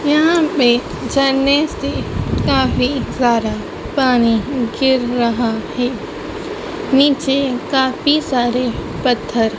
यहां पे झरने से काफी सारा पानी गिर रहा है नीचे काफी सारे पत्थर--